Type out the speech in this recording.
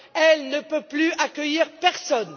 Elle ne peut plus accueillir personne.